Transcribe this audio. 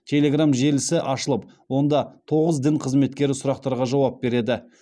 телеграмм желісі ашылып онда тоғыз дін қызметкері сұрақтарға жауап береді